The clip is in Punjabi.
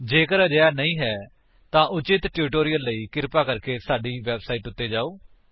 ਜੇਕਰ ਅਜਿਹਾ ਨਹੀਂ ਹੈ ਤਾਂ ਉਚਿਤ ਟਿਊਟੋਰਿਅਲ ਲਈ ਕ੍ਰਿਪਾ ਸਾਡੀ ਇਸ ਵੇਬਸਾਈਟ ਉੱਤੇ ਜਾਓ